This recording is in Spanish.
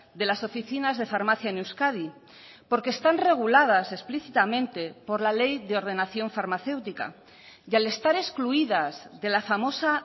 de las oficinas de farmacia en euskadi porque están reguladas explícitamente por la ley de ordenación farmacéutica y al estar excluidas de la famosa